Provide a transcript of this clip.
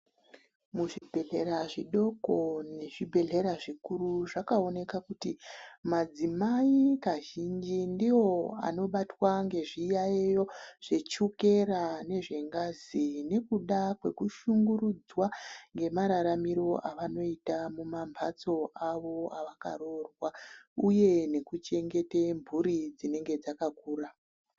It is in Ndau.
Muzvibhehleya zvidoko nezvibhehleya zvikuru zvakaoneka kuti madzimai kazhinji ndiwo anoonekwa ngezviyayiyo zvechukera nengazi , nekuda kwekushungurudzwa ngemararamiro evanenge vachiita mwavakaroorwa uye nekuchengeta mburi dzinenge dzakakura .